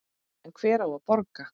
En hver á að borga?